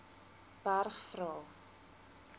berg vra